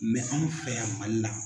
anw fɛ yan Mali la.